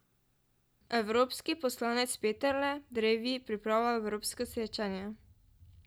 Evropski poslanec Peterle drevi pripravlja evropsko srečanje.